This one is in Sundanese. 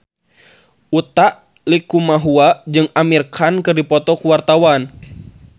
Utha Likumahua jeung Amir Khan keur dipoto ku wartawan